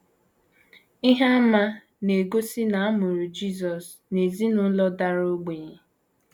Ihe àmà na - egosi na a mụrụ Jisọs n’ezinụlọ dara ogbenye.